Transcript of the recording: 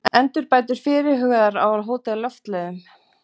Endurbætur fyrirhugaðar á Hótel Loftleiðum